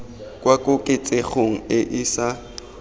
kwa koketsegong e e sa